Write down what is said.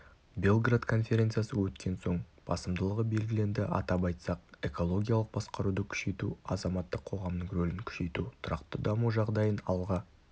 белград конференциясы өткен соң басымдылығы белгіленді атап айтсақ экологиялық басқаруды күшейту азаматтық қоғамның рөлін күшейту тұрақты даму жағдайын алға